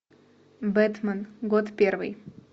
бэтмен год первый